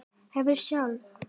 Hefurðu sjálf?